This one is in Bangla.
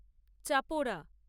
চাপোরা